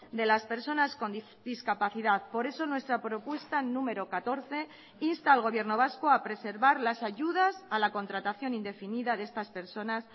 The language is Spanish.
de las personas con discapacidad por eso nuestra propuesta número catorce insta al gobierno vasco a preservar las ayudas a la contratación indefinida de estas personas